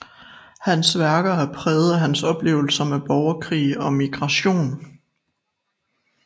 Hans værker er præget af hans oplevelser med borgerkrig og migration